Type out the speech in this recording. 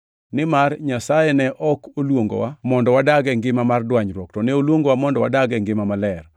Nimar Nyasaye ne ok oluongowa mondo wadag e ngima mar dwanyruok, to ne oluongowa mondo wadag e ngima maler.